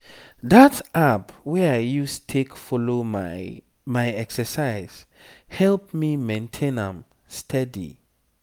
that app wey i use take follow my my exercise help me maintain am steady.